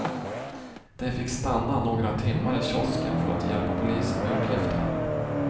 De fick stanna några timmar i kiosken för att hjälpa polisen med uppgifter.